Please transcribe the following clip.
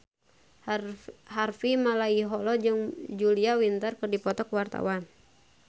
Harvey Malaiholo jeung Julia Winter keur dipoto ku wartawan